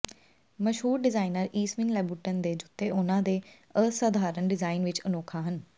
ਮਸ਼ਹੂਰ ਡਿਜ਼ਾਈਨਰ ਈਸਵੀਨ ਲੈਬੁਟਨ ਦੇ ਜੁੱਤੇ ਉਨ੍ਹਾਂ ਦੇ ਅਸਧਾਰਨ ਡਿਜ਼ਾਇਨ ਵਿਚ ਅਨੋਖਾ ਹਨ